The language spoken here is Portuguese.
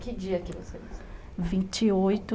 Que dia é que você nasceu? vinte e oito